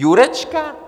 Jurečka?